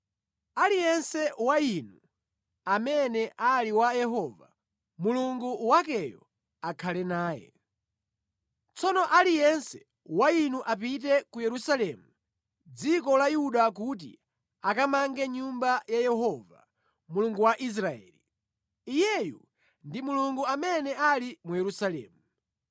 Aliyense wa inu amene ali wa Yehova, Mulungu wakeyo akhale naye. Tsono aliyense wa inu apite ku Yerusalemu, mʼdziko la Yuda kuti akamange Nyumba ya Yehova, Mulungu wa Israeli. Iyeyu ndi Mulungu amene ali mu Yerusalemu.